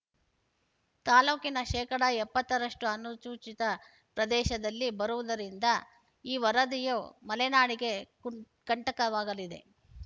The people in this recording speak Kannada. ತಾಲೂಕಿನ ಶೇಕಡಾ ಎಪ್ಪತ್ತ ರಷ್ಟುಅನುಚೂಚಿತ ಪ್ರದೇಶದಲ್ಲಿ ಬರುವುದದರಿಂದ ಈ ವರದಿಯು ಮಲೆನಾಡಿಗೆ ಕಂಟಕವಾಗಲಿದೆ